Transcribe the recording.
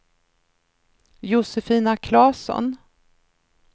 Josefina Klasson